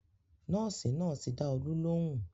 Nọ́ọ̀sì náà ti dá Olú lóhùn